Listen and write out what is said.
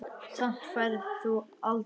Samt færð þú aldrei bréf.